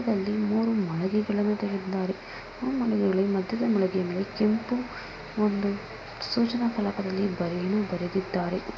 ಈ ಚಿತ್ರದಲ್ಲಿ ಮೂರು ಮಳಿಗೆಗಳನ್ನು ತೆಗೆದಿದ್ದಾರೆ ಮೊದಲನೇ ಮಾಳಿಗೆಯಲ್ಲಿ ಕೆಂಪು ಸೂಚನಾ ಫಲಕದಲ್ಲಿ ಬರೆದಿದ್ದಾರೆ --